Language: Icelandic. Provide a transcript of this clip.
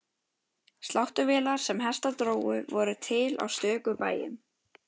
Sláttuvélar sem hestar drógu voru til á stöku bæjum.